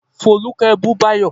Folúkẹ́ bú Báyọ̀